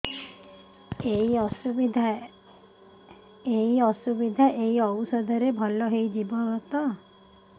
ଏଇ ଅସୁବିଧା ଏଇ ଔଷଧ ରେ ଭଲ ହେଇଯିବ ତ